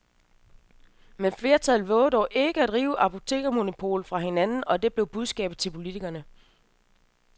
Men flertallet vovede dog ikke at rive apotekermonopolet fra hinanden, og det blev budskabet til politikerne.